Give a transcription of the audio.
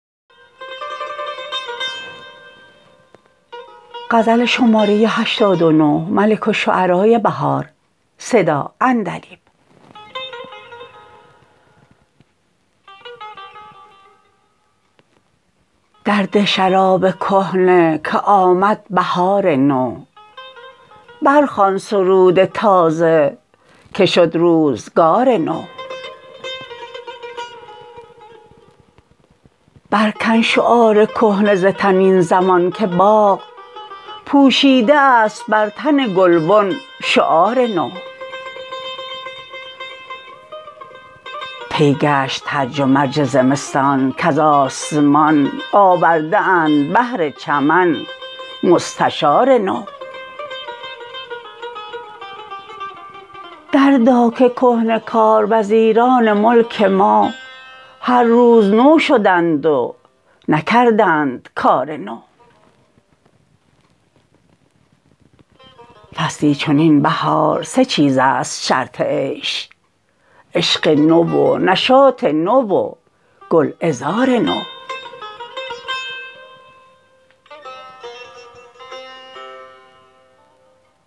در ده شراب کهنه که آمد بهار نو برخوان سرود تازه که شد روزگا ر نو برکن شعار کهنه ز تن این زمان که باغ پوشیده است بر تن گلبن شعار نو طی گشت هرج و مرج زمستان کز آسمان آورده اند بهر چمن مستشار نو دردا که کهنه کار وزیران ملک ما هر روز نو شدند و نکردند کار نو فصلی چنین بهار سه چیز است شرط عیش عشق نو و نشاط نو و گلعذار نو